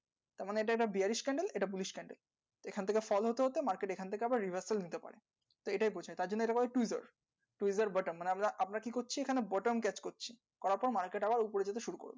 তার মানে এটা একটা bearish candle এটা bullish candle এইখান থেকে fall হতে হতে market এখান থেকে আবার revers ও নিতে পারে তো এটাই তার জন্য এটাকে বলে tweezer tweezer button মানে আমরা আমরা কী করছি এখানে button catch করছি করাতেও market আবার যেতে শুরু করলো